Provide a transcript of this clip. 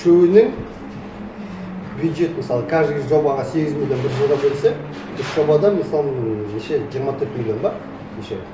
үшеуіне бюджет мысалы каждый жобаға сегіз миллион бір жылға берсе үш жобадан мысалы ммм неше жиырма төрт миллион ба неше